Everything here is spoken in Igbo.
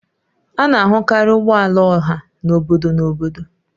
A na-ahụkarị ụgbọ ala ọha na obodo na obodo